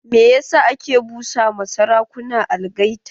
Me yasa ake busa ma sarakuna algaita?